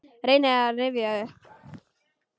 Reyni að rifja upp.